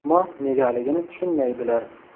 Ammo negaligini tushunmaydilar.